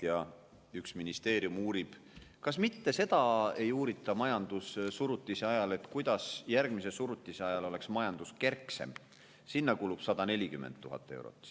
Ja üks ministeerium uurib, kas mitte uurida seda majandussurutise ajal, kuidas järgmise surutise ajal oleks majandus kerksem – sinna kulub 140 000 eurot.